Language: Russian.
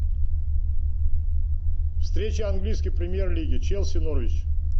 встреча английской премьер лиги челси норвич